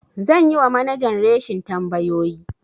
Zan yi wa manajan reshin tambayoyi.